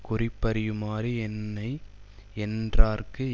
குறிப்பறியுமாறு என்னை யென்றார்க்கு